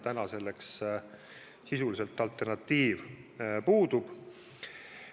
Praegu sisuliselt alternatiiv puudub.